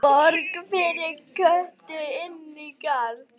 Borg fyrir Kötu inní garði.